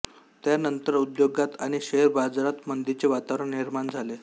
त्यानंतर उद्योगात आणि शेअर बाजारात मंदीचे वातावरण निर्माण झाले